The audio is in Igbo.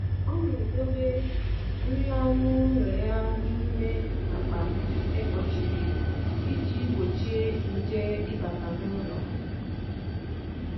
Ọ na-edebe nri anụ ụlọ ya n’ime akpa e kpochiri iji gbochie nje ịbata n’ụlọ.